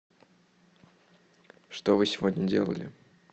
что вы сегодня делали